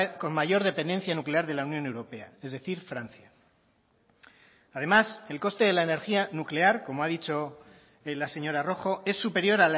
con mayor dependencia nuclear de la unión europea es decir francia además el coste de la energía nuclear como ha dicho la señora rojo es superior